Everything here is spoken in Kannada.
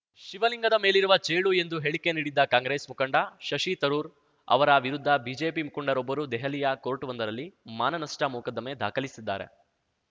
ಶಿವಲಿಂಗದ ಮೇಲಿರುವ ಚೇಳು ಎಂದು ಹೇಳಿಕೆ ನೀಡಿದ್ದ ಕಾಂಗ್ರೆಸ್‌ ಮುಖಂಡ ಶಶಿ ತರೂರ್‌ ಅವರ ವಿರುದ್ಧ ಬಿಜೆಪಿ ಮುಖಂಡರೊಬ್ಬರು ದೆಹಲಿಯ ಕೋರ್ಟ್‌ವೊಂದರಲ್ಲಿ ಮಾನನಷ್ಟಮೊಕದ್ದಮೆ ದಾಖಲಿಸಿದ್ದಾರೆ